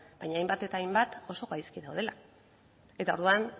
baina hainbat eta hainbat oso gaizki daudela eta orduan